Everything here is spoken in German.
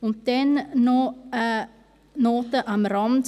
Noch eine Notiz am Rand: